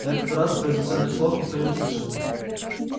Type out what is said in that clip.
на этот раз произнесённых слов никто не услышал